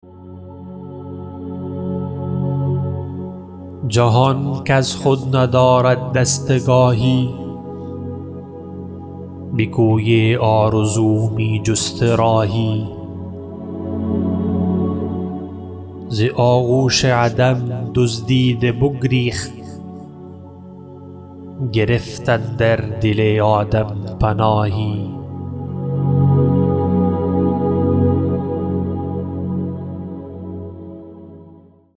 جهان کز خود ندارد دستگاهی به کوی آرزو می جست راهی ز آغوش عدم دزدیده بگریخت گرفت اندر دل آدم پناهی